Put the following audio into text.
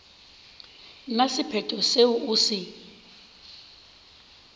na sephetho seo o se